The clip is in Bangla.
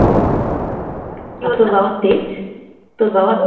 আর তোর বাবার তেজ তোর বাবার